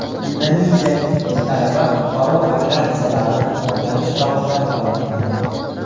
Indoneziyalik ikki talaba qutqaruv operatsiyalarini o‘rganish chog‘ida halok bo‘ldi.